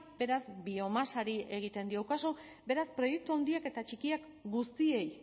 beraz biomasari egiten diogu kasu beraz proiektu handiak eta txikiak guztiei